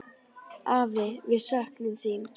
Afi, við söknum þín.